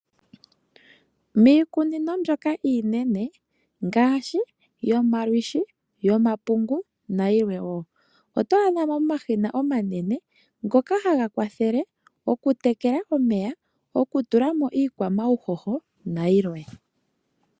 Miikunino mbyoka iinene ngaashi yomakunde, yomalwishi, omapungu nayi lwe woo oto adha mo omashina omanene ngoka haga kwathele okutekela omeya, okutula mo omauhoho nayi lwe.